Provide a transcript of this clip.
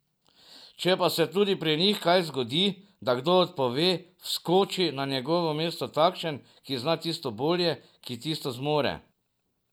Če pa se tudi pri njih kdaj zgodi, da kdo odpove, vskoči na njegovo mesto takšen, ki zna tisto bolje, ki tisto zmore.